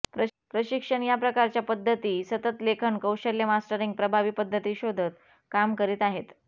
प्रशिक्षण या प्रकारच्या पद्धती सतत लेखन कौशल्य मास्टरींग प्रभावी पद्धती शोधत काम करीत आहेत